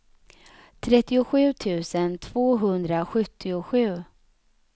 trettiosju tusen tvåhundrasjuttiosju